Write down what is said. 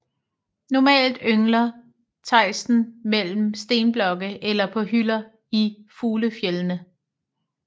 Normalt yngler tejsten mellem stenblokke eller på hylder i fuglefjeldene